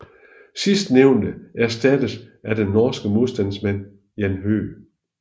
Sidstnævnte erstattedes af den norske modstandsmand Jan Høeg